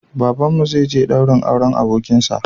Babanmu zai je daurin auren abokinshi